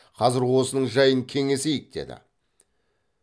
қазір осының жайын кеңесейік деді